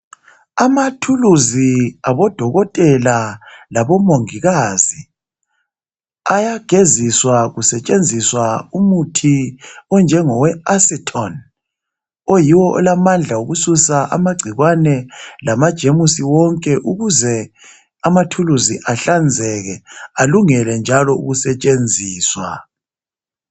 Amathuluzi abodokotela labomongikazi ayageziswa kusetshenziswa umuthi onjengoacetone oyiwo olamandla okususa amagcikwane lmaajemusi wonke ukuze amathulusi ahlanzeke alungele njalo ukusetshenziswa.